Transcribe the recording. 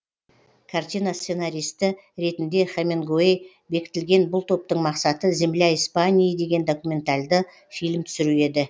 картина сценаристы ретінде хемингуэй бекітілген бұл топтың мақсаты земля испании деген документалды фильм түсіру еді